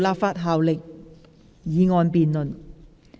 無立法效力的議案辯論。